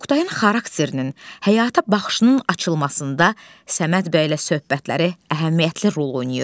Oktayın xarakterinin, həyata baxışının açılmasında Səməd bəylə söhbətləri əhəmiyyətli rol oynayır.